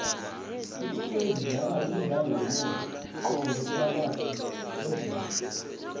ikwekwezi idlala imidlalo yomoya qobe phakayhi kweveke